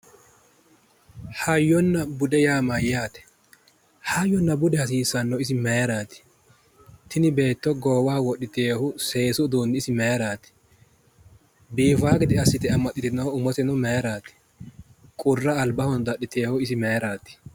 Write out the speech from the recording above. Hayyonna bude yaa mayyaate? Hayyonna budu hasiisannohu isi mayiraati? Tini beetto seesu uduunni isi mayiraati? Biifawo gede assite amaxxitewohu umose isi mayiraati? qurra albaho dadhitewohu mayiraati?